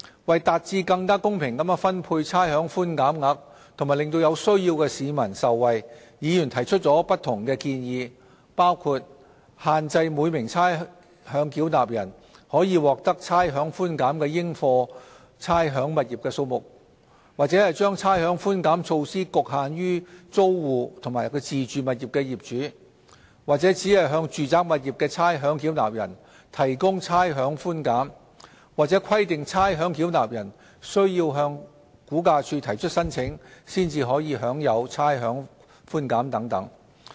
為達致更公平地分配差餉寬減額和令有需要的市民受惠，議員提出了不同的建議，包括限制每名差餉繳納人可獲得差餉寬減的應課差餉物業數目、將差餉寬減措施局限於租戶及自住物業的業主、只向住宅物業的差餉繳納人提供差餉寬減，或規定差餉繳納人須向估價署提出申請，才可享有差餉寬減等。